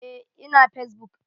Eh, ina fesbuk.